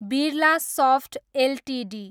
Birlasoft Ltd